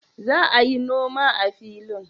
Za a yin noma a filin?